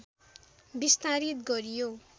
विस्तारित गरियो